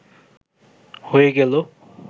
হয়ে গেল